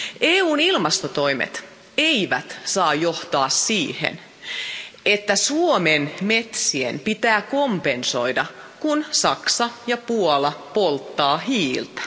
EUn ilmastotoimet eivät saa johtaa siihen, että Suomen metsien pitää kompensoida, kun Saksa ja Puola polttavat hiiltä.